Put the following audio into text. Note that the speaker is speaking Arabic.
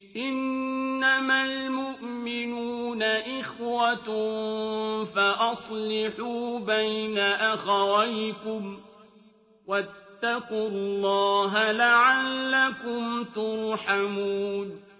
إِنَّمَا الْمُؤْمِنُونَ إِخْوَةٌ فَأَصْلِحُوا بَيْنَ أَخَوَيْكُمْ ۚ وَاتَّقُوا اللَّهَ لَعَلَّكُمْ تُرْحَمُونَ